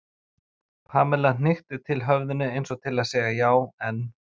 Pamela hnykkti til höfðinu eins og til að segja já, en.